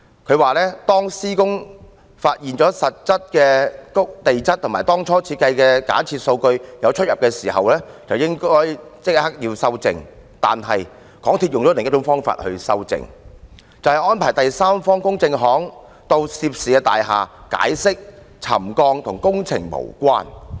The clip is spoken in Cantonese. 他說施工期間如發現實際的地質與當初的假設數據有分別，便應立刻修正，但港鐵公司則以另一種方法修正，就是安排第三方公證行到涉事大廈，解釋沉降與工程無關。